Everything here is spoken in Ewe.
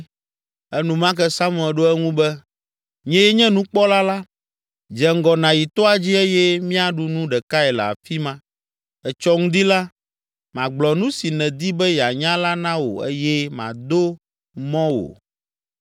Enumake Samuel ɖo eŋu be, “Nyee nye nukpɔla la! Dze ŋgɔ nàyi toa dzi eye míaɖu nu ɖekae le afi ma. Etsɔ ŋdi la, magblɔ nu si nèdi be yeanya la na wò eye mado mɔ wò.